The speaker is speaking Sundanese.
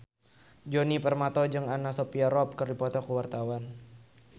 Djoni Permato jeung Anna Sophia Robb keur dipoto ku wartawan